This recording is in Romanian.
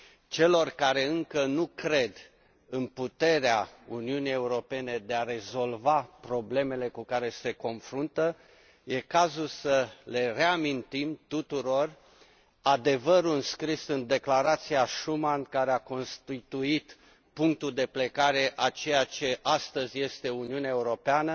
Celor care încă nu cred în puterea Uniunii Europene de a rezolva problemele cu care se confruntă, este cazul să le reamintim tuturor adevărul înscris în declarația Schuman care a constituit punctul de plecare a ceea ce astăzi este Uniunea Europeană,